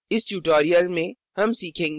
इस tutorial में हम सीखेंगे कि